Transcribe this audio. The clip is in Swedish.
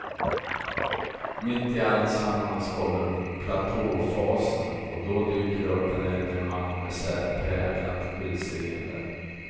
Mitt i alltsammans kommer platåfasen och då dyker det upp en äldre man med särpräglat utseende.